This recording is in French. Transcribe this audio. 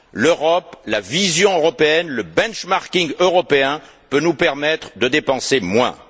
L'Europe, la vision européenne, le benchmarking européen peuvent nous permettre de dépenser moins.